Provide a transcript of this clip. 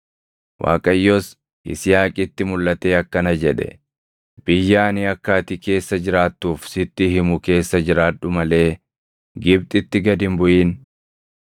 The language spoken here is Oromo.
Waaqayyos Yisihaaqitti mulʼatee akkana jedhe; “Biyya ani akka ati keessa jiraattuuf sitti himu keessa jiraadhu malee Gibxitti gad hin buʼin.